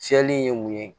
Fiyɛli in ye mun ye